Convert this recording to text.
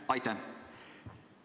Aitäh!